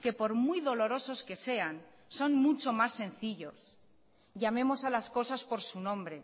que por muy dolorosos que sean son mucho más sencillos llamemos a las cosas por su nombre